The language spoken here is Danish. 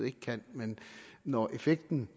ikke kan men når effekten